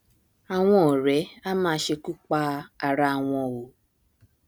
àwọn ọrẹ á máa ṣekú pa ara wọn o